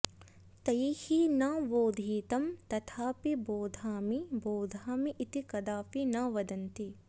तैः न बोधितं तथापि बोधामि बोधामि इति कदापि न वदन्ति